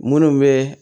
Munnu be